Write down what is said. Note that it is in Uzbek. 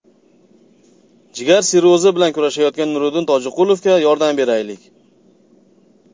Jigar sirrozi bilan kurashayotgan Nuriddin Tojiqulovga yordam beraylik!.